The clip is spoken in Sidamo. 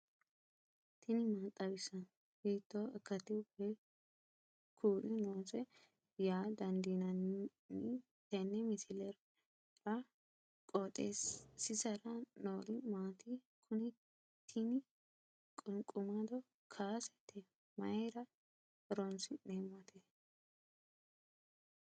tini maa xawissanno ? hiitto akati woy kuuli noose yaa dandiinanni tenne misilera? qooxeessisera noori maati? kuni tini qunqumado kaasete mayra horoonsi'neemmote